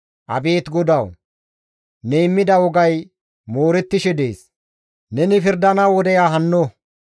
Abeet GODAWU! Ne immida wogay moorettishe dees; neni pirdana wodeya hanno.